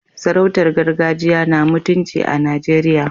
Sarautun gargajiya na mutunci a Najeriya.